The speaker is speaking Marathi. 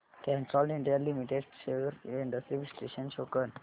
Castrol India limited shares trends चे विश्लेषण शो कर